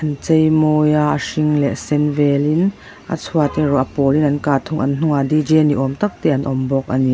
an chei mawi a a hring leh sen velin a chhuat erawh a pawlin an kah thung an hnungah d j ni awm tak te an awm bawk a ni.